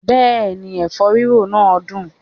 Bẹ́ẹ̀ni, ẹ̀fọ́ rírò náà dùn